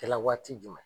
Kɛla waati jumɛn